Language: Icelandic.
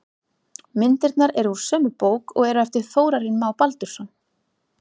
Myndirnar eru úr sömu bók og eru eftir Þórarin Má Baldursson.